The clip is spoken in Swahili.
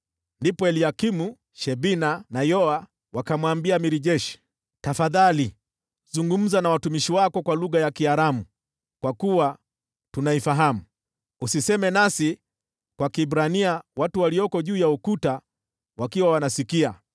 Ndipo Eliakimu, Shebna na Yoa wakamwambia yule jemadari wa jeshi, “Tafadhali zungumza na watumishi wako kwa lugha ya Kiaramu, kwa kuwa tunaifahamu. Usiseme nasi kwa Kiebrania watu walioko juu ya ukuta wakiwa wanasikia.”